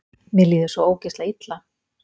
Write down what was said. Mér líður svo ógeðslega illa.